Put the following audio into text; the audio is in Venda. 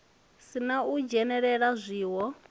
si na u dzhenelela zwiwo